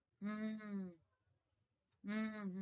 હમ હમમ